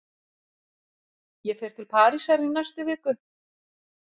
Ég fer til Parísar í næstu viku.